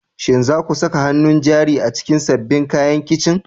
Shin za ku saka hannun jari a cikin sabbin kayan kicin?